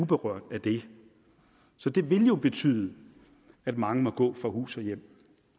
berørt af det så det vil jo betyde at mange må gå fra hus og hjem